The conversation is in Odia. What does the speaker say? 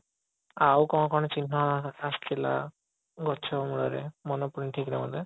ଆଉ କଣ କଣ ଚିହ୍ନ ଆସିଥିଲା ଗଛ ମୂଳରେ ମନେ ପଡୁନି ଠିକ ରେ ମୋତେ